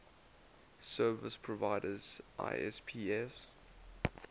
service providers isps